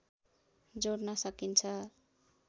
जोड्न सकिन्छ